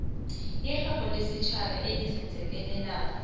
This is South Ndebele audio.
irherho lesitjhaba elizenzakalelako